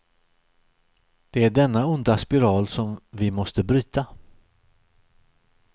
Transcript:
Det är denna onda spiral som vi måste bryta.